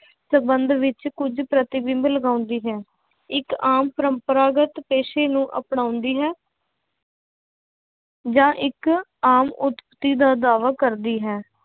ਸੰਬੰਧ ਵਿੱਚ ਕੁੱਝ ਪ੍ਰਤਿਬਿੰਬ ਲਗਾਉਂਦੀ ਹੈ, ਇੱਕ ਆਮ ਪਰੰਪਰਾਗਤ ਪੇਸ਼ੇ ਨੂੰ ਅਪਣਾਉਂਦੀ ਹੈ ਜਾਂ ਇੱਕ ਆਮ ਉੱਤਪਤੀ ਦਾ ਦਾਵਾ ਕਰਦੀ ਹੈ